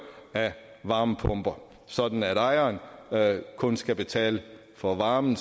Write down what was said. af varmepumper sådan at ejeren kun skal betale for varmen